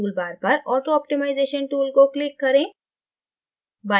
tool bar पर auto optimization tool को click करें